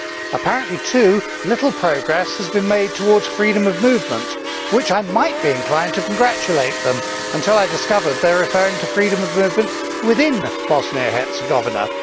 Apparently, too, little progress has been made towards freedom of movement, for which I might be inclined to congratulate them until I discovered they are referring to freedom of movement within Bosnia and Herzegovina.